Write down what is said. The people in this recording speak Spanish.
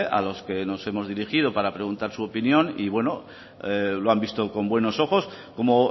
a los que nos hemos dirigido para preguntar su opinión y bueno lo han visto con buenos ojos como